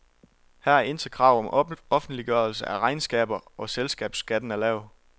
Her er intet krav om offentliggørelse af regnskaber, og selskabsskatten er lav.